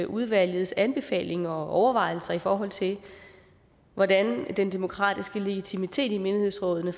udvalgets anbefalinger og overvejelser i forhold til hvordan den demokratiske legitimitet i menighedsrådene